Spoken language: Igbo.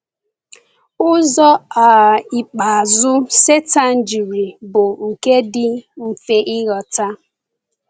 Ụzọ um ikpeazụ Sátán jiri bụ nke dị mfe ịghọta.